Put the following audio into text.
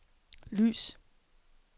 lys